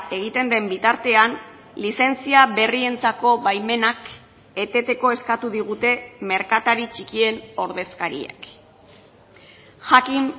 egiten den bitartean lizentzia berrientzako baimenak eteteko eskatu digute merkatari txikien ordezkariek jakin